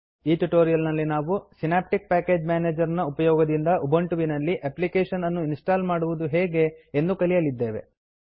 ಈ ಟ್ಯುಟೋರಿಯಲ್ ನಲ್ಲಿ ನಾವು ಸಿನಾಪ್ಟಿಕ್ ಪ್ಯಾಕೇಜ್ ಮೇನೇಜರ್ ನ ಉಪಯೋಗದಿಂದ ಉಬಂಟುವಿನಲ್ಲಿ ಎಪ್ಲಿಕೇಶನ್ ಅನ್ನು ಇನ್ಸ್ಟಾಲ್ ಮಾಡುವುದು ಹೇಗೆ ಎಂದು ತಿಳಿಯಲಿದ್ದೇವೆ